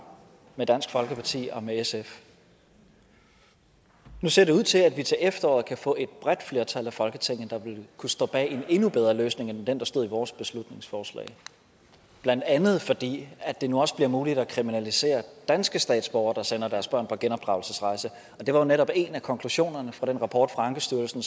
med dansk folkeparti og med sf nu ser det ud til at vi til efteråret kan få et bredt flertal i folketinget der vil kunne stå bag en endnu bedre løsning end den der stod i vores beslutningsforslag blandt andet fordi det nu også bliver muligt at kriminalisere danske statsborgere der sender deres børn på genopdragelsesrejse og det var jo netop en af konklusionerne fra den rapport fra ankestyrelsen